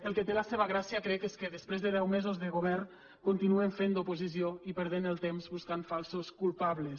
el que té la seva gràcia crec és que després de deu mesos de govern continuen fent d’oposició i perdent el temps buscant falsos culpables